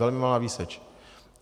Velmi malá výseč.